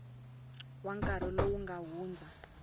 wa nkarhi lowu nga hundza